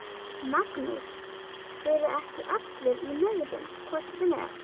Magnús: Eru ekki allir í megrun hvort sem er?